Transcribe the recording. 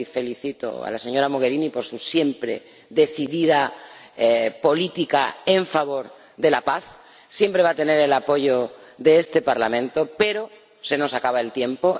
Y felicito a la señora Mogherini por su siempre decidida política en favor de la paz —siempre va a tener el apoyo de este Parlamento—, pero se nos acaba el tiempo.